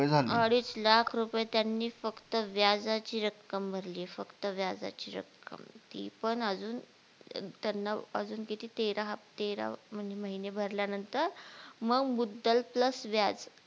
अडीच लाख रुपय त्यांनी फक्त व्याजाची रक्कम भरलीये फक्त व्याजाची रक्कम ती पण अजून त्यांना अजून किती तेरा हफ्ते तेरा म्हणजे महिने भरल्या नंतर मग मुद्दल PLUS व्याज